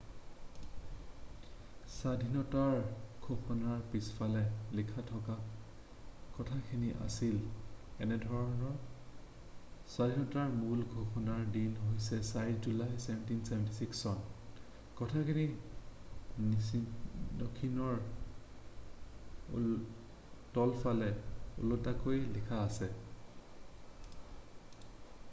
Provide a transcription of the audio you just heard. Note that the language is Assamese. স্বাধীনতাৰ ঘোষণাৰ পিছফালে লিখা থকা কথাখিনি আছিল এনেধৰণৰ স্বাধীনতাৰ মূল ঘোষণাৰ দিন হৈছে 4 জুলাই 1776 চন কথাখিনি নথিখনৰ তলফালে ওলোটাকৈ লিখা আছে